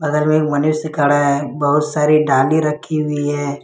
बगल में मनुष्य खड़ा है बहुत सारी डाली रखी हुई है।